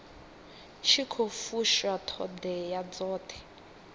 tshi khou fusha ṱhoḓea dzoṱhe